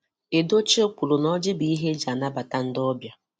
Edochie kwuru na ọjị bu ihe eji anabata ndi obịa.